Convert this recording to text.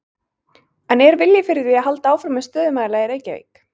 En er vilji fyrir því að halda áfram með stöðumæla í Reykjavík?